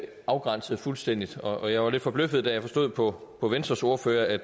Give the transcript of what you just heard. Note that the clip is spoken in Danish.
afgrænset fuldstændig og jeg var lidt forbløffet da jeg forstod på på venstres ordfører at